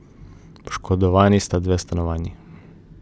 Poškodovani sta dve stanovanji.